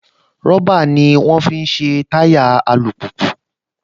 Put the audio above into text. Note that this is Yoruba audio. Rọ́bà ní wọ́n á fi ṣe táyà alùpùpù